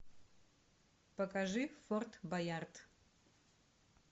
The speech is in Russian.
покажи форт боярд